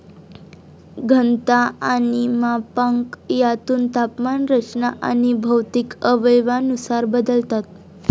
घनता आणि मापांक, त्यातून तापमान, रचना अणि भौतिक अवयवानुसार बदलतात.